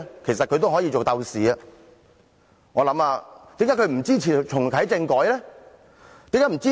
其實他們也可以做鬥士，為甚麼他們不支持重啟政改？